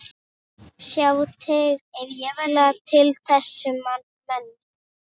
Sjá tengla við þessa menn.